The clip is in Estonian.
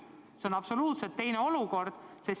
See on absoluutselt teine olukord.